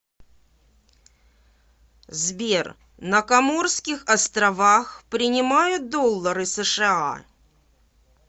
сбер на коморских островах принимают доллары сша